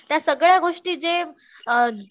त्यासगळ्या गोष्टी जे